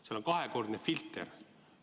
Seal on kahekordne filter.